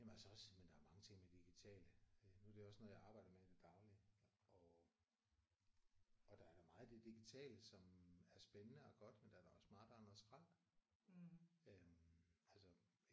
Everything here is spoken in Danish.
Jamen også jamen der er mange ting med det digitale. Nu er det også noget jeg arbejder med i det daglige. Og og der er da meget i det digitale som er spændende og godt men der er da også meget der er noget skrald